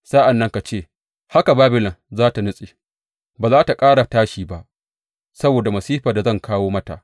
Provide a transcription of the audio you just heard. Sa’an nan ka ce, Haka Babilon za tă nutse, ba za tă ƙara tashi ba saboda masifar da zan kawo mata.